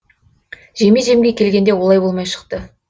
жеме жемге келгенде олай болмай шықты